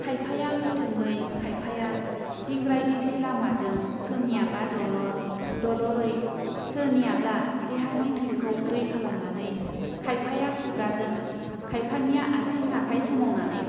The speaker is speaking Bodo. खायफाया गोथोङै खायफाया , दिंग्राय दिंसि लामाजों सोरनियाबा दलर , दलरै , सोरनियाब्ला देहानि थैखौ दै खालामनानै , खायफाया खुगाजों , खायफानिया आथिं आखाय सोमावनानै ।